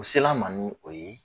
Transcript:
U se l'an ma ni o ye.